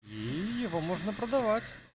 ии его можно продавать